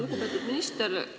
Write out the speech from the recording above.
Lugupeetud minister!